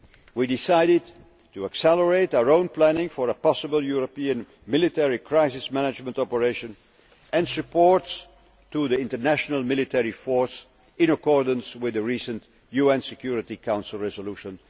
We decided to accelerate our own planning for a possible European military crisis management operation and support for the international military force, in accordance with the recent UN Security Council Resolution